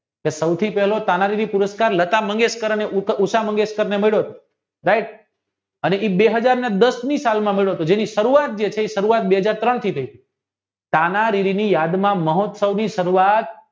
કે સુધી પહેલો સામાન્ય પુરષ્કાર લતા મંગેશકરને ઉષા મંગેશકર આંથી બે હાજર ને દસ ની સાલ માં આવ્યો હતો જેની સરુવાત જે છે એ બે હાજર ત્રણ થી થઈ મહોત્સવની સરુવાત